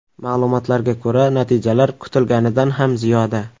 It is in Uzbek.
Ma’lumotlarga ko‘ra, natijalar kutilganidan ham ziyoda.